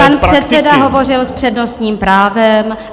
Pan předseda hovořil s přednostním právem.